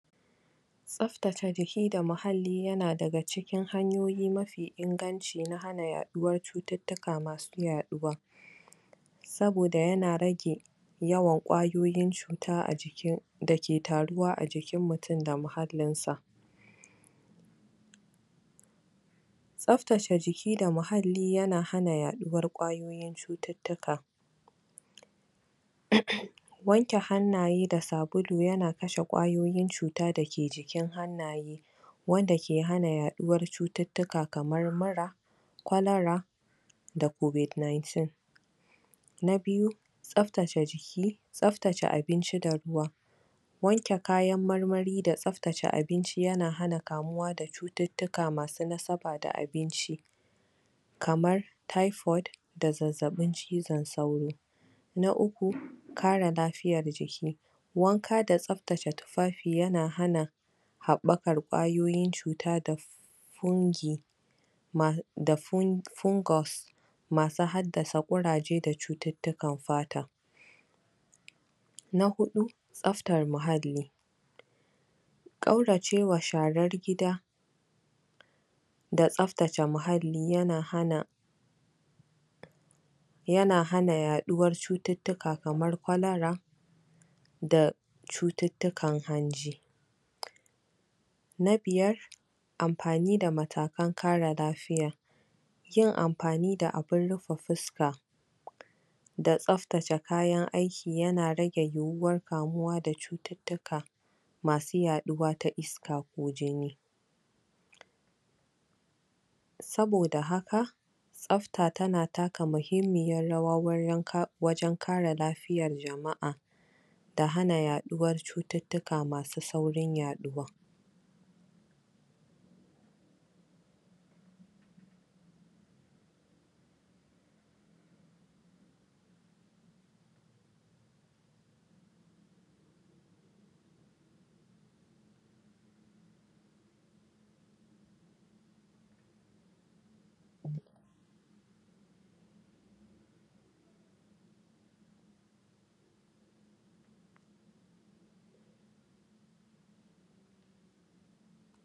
tsaftace jiki da ma halli yana daga ci kin hanyoyi mafi inganci na na yaɗuwar cututtuka masu yaɗuwa saboda yana rage yawan ƙwayoyin cuta a jikin dake taruwa a jikin mutun da muhallin sa. tsaftace jiki da muhalli yana hana yaɗuwar kwayoyin cututtuka wanke hanaye da sabulu yana kashe ƙwayoyin cuta dake jikin hannaye wanda ke hana yaɗuwar cututtuka kamar mura, kwalara COVID 19 na biyu tsaftace ji ki tsabtace abinci da ruwa wanke kayan marmari da tsaftace abinci ya na hana kamuwa da cututtuka masu nasaba da abinci kamar typhoid da zazzaɓin cizon sauro na uku kare lafiyar jiki wanka da tsaftace tufafi yana hana haɓakar kwayoyin cuta da fungi da fungus masu haddasa kuraje da cututtukan fata na huɗu tsaftar muhalli ƙauracewa sharar gida da tsaftace muhalli yana hana yaɗuwar cututtuka kamar kwalara da cututtukan hanji na biyar ampani da matakan kare lafiya yin ampani da abun rufe fuska da tsaftace kayan aiki yana rage yiwuwar kamuwa da cututtuka masu yaɗuwa ta iska ko jini saboda haka tsafta tana taka muhimmiyar rawa wurin [um} wajen kare lafiyar jama'a da hana yaɗuwar cututtuka masu saurin yaɗuwa